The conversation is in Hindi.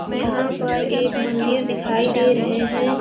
यहाँ पर एक मंदिर दिखाई दे रहे हे।